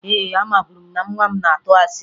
Ee, amaburu m na nwa m na-atụ asị